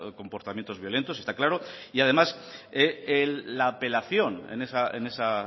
comportamientos violentos está claro y además la apelación en esa